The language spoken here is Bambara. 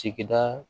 Sigida